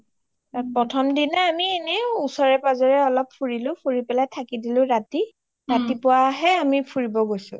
প্ৰথম দিনাখন আমি এনে ওচৰে পাজৰে অলপ ফুৰিলো ফুৰি পেলাই থাকি দিলো ৰাতি ৰাতিপুৱাহে আমি ফুৰিব গৈছো